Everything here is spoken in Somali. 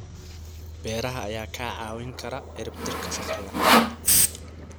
Beeraha ayaa kaa caawin kara ciribtirka faqriga.